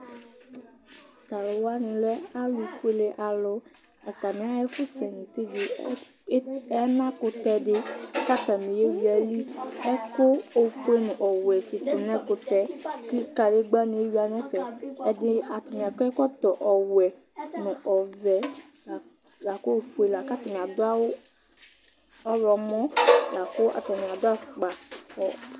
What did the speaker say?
Talʋ wani lɛ alʋ fuele alʋ atani axa ɛfɛsɛnʋ tivi alakʋtɛ di kʋ atani yewi alyili ɛkʋ ofue nʋ ɔwɛ di tʋ nʋ ɛkʋtɛ kʋ kadegbani ewuia nʋ ɛfɛ ɛdini atani akɔ ɛkɔtɔ ɔwɛ, ɔvɛ lakʋ ofue lakʋ atani adʋ awʋ ɔwlɔmɔ lakʋ atani adʋ afʋkpa